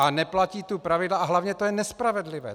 A neplatí tu pravidla a hlavně to je nespravedlivé.